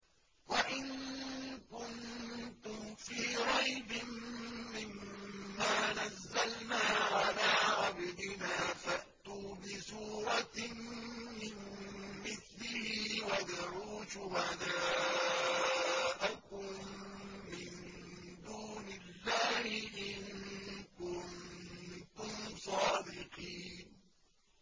وَإِن كُنتُمْ فِي رَيْبٍ مِّمَّا نَزَّلْنَا عَلَىٰ عَبْدِنَا فَأْتُوا بِسُورَةٍ مِّن مِّثْلِهِ وَادْعُوا شُهَدَاءَكُم مِّن دُونِ اللَّهِ إِن كُنتُمْ صَادِقِينَ